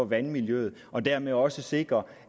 vandmiljøet og dermed også sikre